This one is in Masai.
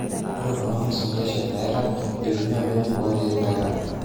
Ore kuna ngwesi keshet neirag etumia mbenek o kiek nairagita.